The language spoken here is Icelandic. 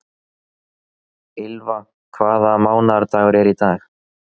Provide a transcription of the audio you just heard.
Ylva, hvaða mánaðardagur er í dag?